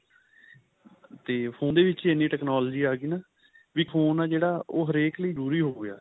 ਤੇ phone ਦੇ ਵਿੱਚ ਹੀ ਇੰਨੀ technology ਆ ਗਾਈ ਨਾ ਵੀ phone ਆ ਜਿਹੜਾ ਉਹ ਹਰੇਕ ਲਈ ਜਰੂਰੀ ਹੋ ਗਿਆ